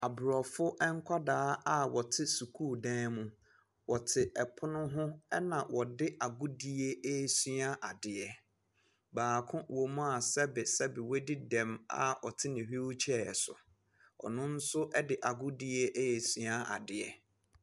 Abrofo nkwadaa a ɔte sukuu dan mu. Ɔte ɛpono ho ɛna ɔde agudie ɛɛsua adeɛ. Baako wɔ mu a sɛbesɛbe wadi dɛm a ɔte ne hweelkyɛɛ so. Ɔno nso ɛde agudie ɛɛsua adeɛ.